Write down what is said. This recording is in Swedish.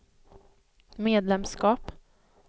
medlemskap